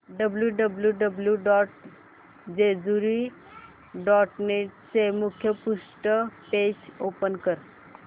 W W W dot Jejuri dot net चे मुखपृष्ठ page open कर